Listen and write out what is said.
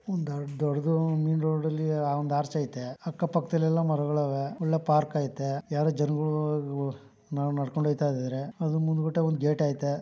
ಒಂದು ದೊಡ್ಡದು main road ಅಲ್ಲಿ ಒಂದು ಆರ್ಚ್ ಐತೆ ಅಕ್ಕ ಪಕ್ಕದಲ್ಲಿ ಎಲ್ಲ ಮರಗಳವೆ ಒಳ್ಳೆ ಪಾರ್ಕ್ ಐತೆ ಯಾರು ಜನಗಳು ನಡಕೊಂಡ ಹೋಗ್ತಾಯಿದಾರೆ ಅದ್ರ್ ಮುಂದ್ ಗುಟ ಒಂದು ಗೇಟ್ ಐತೆ.